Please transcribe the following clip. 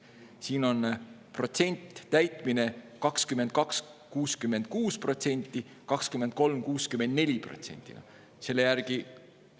Siin on täitmine protsentides: 2022. aastal 66% ja 2023. aastal 64%.